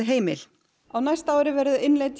heimil á næsta ári innleiðir